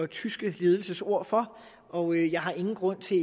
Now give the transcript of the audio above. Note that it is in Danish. tyske ledelses ord for og jeg har ingen grund til